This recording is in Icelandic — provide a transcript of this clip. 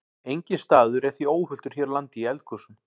Enginn staður er því óhultur hér á landi í eldgosum.